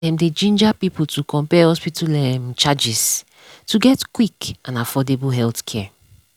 dem dey ginger people to compare hospital um charges to get quick and affordable healthcare.